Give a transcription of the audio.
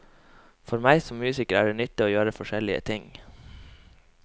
For meg som musiker er det nyttig å gjøre forskjellige ting.